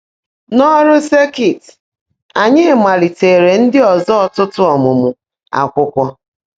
N’ọ́rụ́ sèkịt, ányị́ máliitéèré ndị́ ọ́zọ́ ọ́tụ́tụ́ ọ́mụ́mụ́ ákwụ́kwọ́.